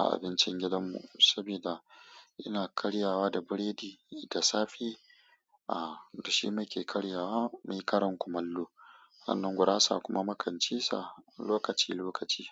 a abincin gidan mu, saboda ina karyawa da biredi da safe. Dashi nake karyawa, nayi karin kumallo. Sannan gurasa kuma mukan ci sa lokaci lokaci.